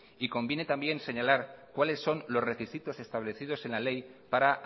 y conviene también señalar cuáles son los requisitos establecidos en la ley para